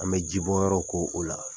An be ji bɔ yɔrɔ ko o la.